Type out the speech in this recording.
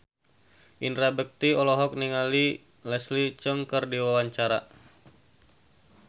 Indra Bekti olohok ningali Leslie Cheung keur diwawancara